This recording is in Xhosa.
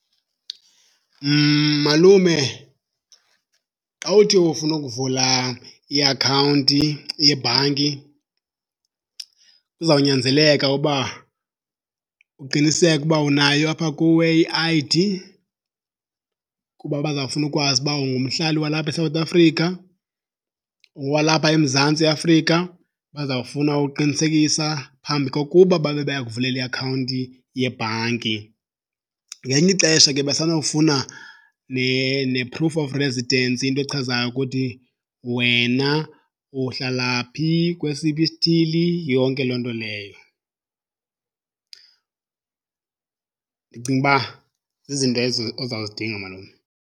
Malume, xa uthi ufuna ukuvula iakhawunti yebhanki kuzawunyanzeleka uba uqiniseke ukuba unayo apha kuwe i-I_D kuba bazawufuna ukwazi ukuba ungumhlali walapha eSouth Africa, ungowalapha eMzantsi Afrika, bazawufuna ukuqinisekisa phambi kokuba babe bayakuvulela iakhawunti yebhanki. Ngelinye ixesha ke basenofuna ne-proof of residence, into echazayo ukuthi wena uhlala phi, kwesiphi isithili, yonke loo nto leyo. Ndicinga uba zizinto ozawuzidinga, malume.